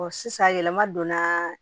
sisan yɛlɛma donna